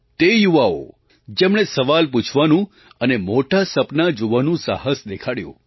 તે યુવાઓ જેમણે સવાલ પૂછવાનું અને મોટાં સપનાં જોવાનું સાહસ દેખાડ્યું